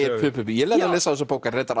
ég lærði að lesa af þessari bók